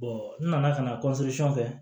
n nana ka na kɛ